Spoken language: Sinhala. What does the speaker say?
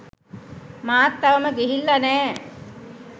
මාත් තවම ගිහිල්ල නෑ.